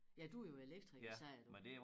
Ja du jo elektriker sagde du